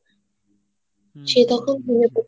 সে তখন মনে করতেছে